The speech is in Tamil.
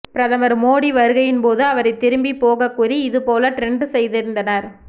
பிரதமர் மோடி வருகையின்போது அவரை திரும்பி போக கூறி இதுபோல ட்ரெண்ட் செய்திருந்தனர்